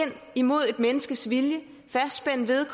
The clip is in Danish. imod et menneskes vilje fastspænde det